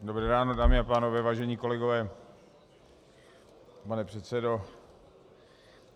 Dobré ráno, dámy a pánové, vážení kolegové, pane předsedo.